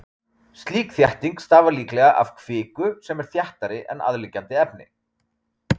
Slík þétting stafar líklega af kviku sem er þéttari en aðliggjandi efni.